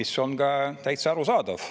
See on ka täitsa arusaadav.